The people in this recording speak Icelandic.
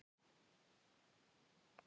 Viltu poka?